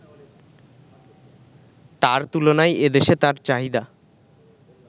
তার তুলনায় এদেশে তার চাহিদা